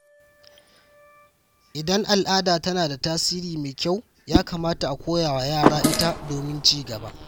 Idan al’ada tana da tasiri mai kyau, ya kamata a koya wa yara ita domin ci gaba.